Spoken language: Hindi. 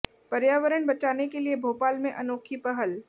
पर्यावरण बचाने के लिए भोपाल में अनोखी पहल